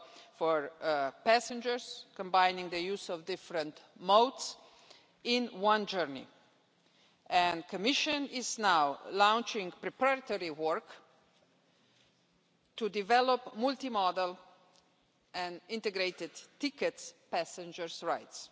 For passengers combining the use of different modes in one journey, the Commission is now launching preparatory work to develop multimodal and integrated ticket passenger rights.